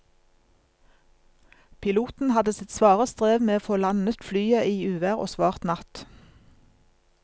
Piloten hadde sitt svare strev med å få landet flyet i uvær og svart natt.